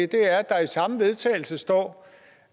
det er at der i samme vedtagelse står